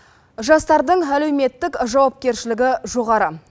жастардың әлеуметтік жауапкершілігі жоғары